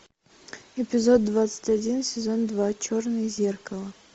эпизод двадцать один сезон два черное зеркало